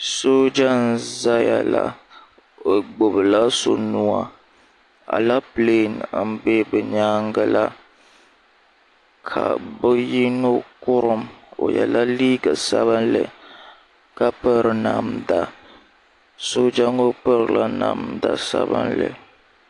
sooja n-zaya la o gbubi la so nuu a aleepele m-be bɛ nyaaga la ka bɛ yino Kurim o yela liiga sabinli ka piri namda sooja ŋɔ pirila namda sabinli